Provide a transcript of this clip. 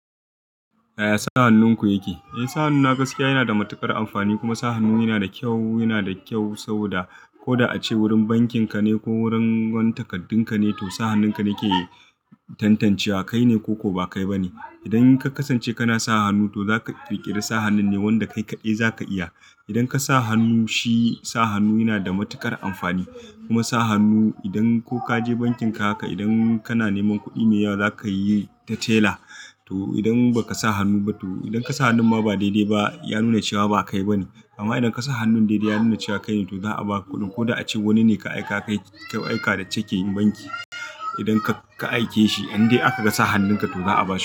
Yaya sa hannunku yake? Eh sa hannu na gaskiya yana da matuƙar amfani kuma sa hannu yana da kyau, yana da kyau saboda ko da a ce wurin bankin ka ne ko wurin wani takardunka ne, to sa hannunka ne ke tantancewa kai ne ko ko ba kai ba ne. Idan ka kasance kana sa hannu to za ka ƙirƙiri sa hannun ne wanda kai kaɗai za ka iya. Idan ka sa hannu shi sa hannu yana da matuƙar amfani kuma sa hannu idan ko ka je bankin ka haka idan kana neman kuɗi mai yawa za ka yi ta tela to idan ba ka sa hannu ba to idan ka sa hannun ma ba daidai ba ya nuna cewa ba kai ba ne. Amma idan ka sa hannun daidai ya nuna cewa kai ne to za a ba kuɗin. Ko da a ce wani ne ka aika ka kai ka aika da ceke banki. Idan ka ka aike shi in dai aka ga sa hannunka to za a ba shi.